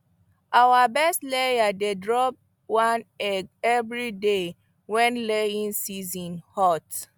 our best layers dey drop one egg every day when laying season hot